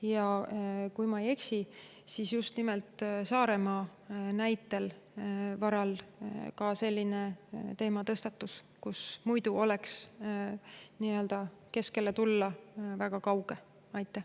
Ja kui ma ei eksi, siis just nimelt Saaremaa näite varal tõstatus see teema, et muidu oleks väga kauge tulla.